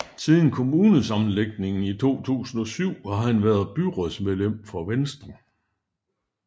Siden kommunesammenlægningen i 2007 har han været byrådsmedlem for Venstre